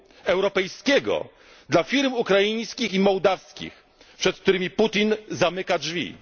rynku europejskiego dla firm ukraińskich i mołdawskich, przed którymi Putin zamyka